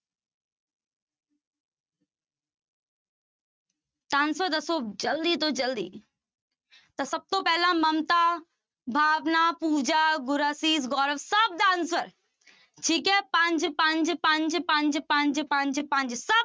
ਤਾਂ answer ਦੱਸੋ ਜ਼ਲਦੀ ਤੋਂ ਜ਼ਲਦੀ ਤਾਂ ਸਭ ਤੋਂ ਮਮਤਾ, ਭਾਵਨਾ, ਪੂਜਾ, ਗੁਰਅਸੀਸ, ਗੌਰਵ ਸਭ ਦਾ answer ਠੀਕ ਹੈ ਪੰਜ, ਪੰਜ, ਪੰਜ, ਪੰਜ, ਪੰਜ, ਪੰਜ, ਪੰਜ ਸਭ